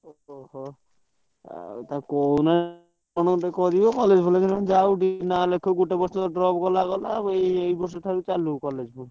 ଓହୋ ହୋ ଆଉ ତାକୁ କହୁନୁ କଣ ଗୋଟେ କରିବ college ଫଲେଜ ନହେଲେ ଯାଉ ନା ଲେଖାଉ ନହଲେ ଗୋଟେ ବର୍ଷ drop ଗଲା ଗଲା ଏଇବର୍ଷ ଠାରୁ ଚାଲୁ college ।